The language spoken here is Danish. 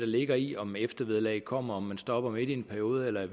ligger i om eftervederlaget kommer når man stopper midt i en periode eller i